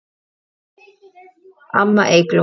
Amma Eygló.